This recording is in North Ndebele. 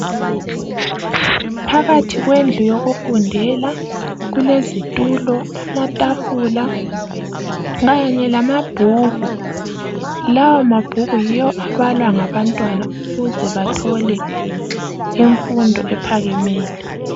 phakathi kwendlu yokufundela kulezitulo amatafula kanye lamabhuku lawa mabhuku yiwo abalwa ngabantwana ukuze bathole imfundo ephakemeyo